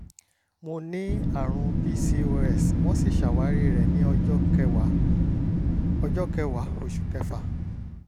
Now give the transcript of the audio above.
mo ní àrùn pcos wọ́n sì ṣàwárí rẹ̀ ní ọjọ́ kẹwàá ọjọ́ kẹwàá oṣù kẹfà